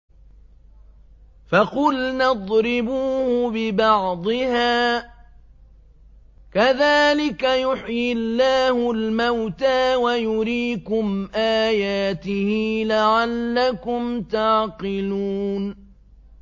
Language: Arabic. فَقُلْنَا اضْرِبُوهُ بِبَعْضِهَا ۚ كَذَٰلِكَ يُحْيِي اللَّهُ الْمَوْتَىٰ وَيُرِيكُمْ آيَاتِهِ لَعَلَّكُمْ تَعْقِلُونَ